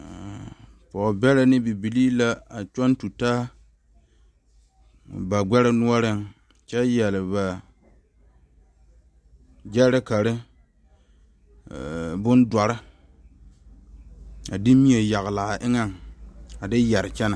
Mmm pɔge bɛre ne bibile la tɔ tutaa bagbɛ noɔre kyɛ yeere ba gyerekare bondoɔre a de mie yeglaa eŋa a de yeere kyɛne.